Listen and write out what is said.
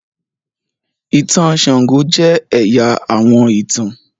ìtàn sango jẹ ẹya àwọn ìtàn.